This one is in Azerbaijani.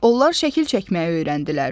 Onlar şəkil çəkməyi öyrəndilər.